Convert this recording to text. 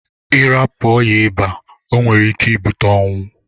Irapu oya ịba onwere ike ibute ọnwụ.